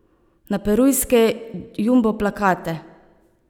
Na perujske jumbo plakate.